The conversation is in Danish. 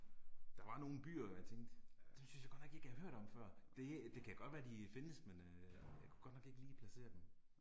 Der var nogle byer hvor jeg tænkte, dem synes jeg godt nok ikke jeg har hørt om før, det det kan godt være de findes men øh jeg kunne ikke lige placere dem